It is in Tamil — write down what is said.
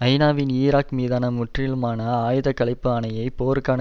ஐநாவின் ஈராக் மீதான முற்றிலுமான ஆயுத களைப்பு ஆணையை போருக்கான